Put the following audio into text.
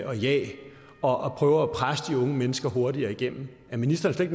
og jag og at prøve at presse de unge mennesker hurtigere igennem er ministeren slet